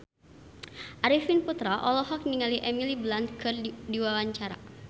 Arifin Putra olohok ningali Emily Blunt keur diwawancara